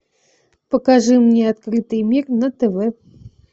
покажи мне открытый мир на тв